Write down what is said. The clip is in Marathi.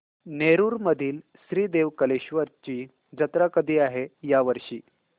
नेरुर मधील श्री देव कलेश्वर ची जत्रा कधी आहे या वर्षी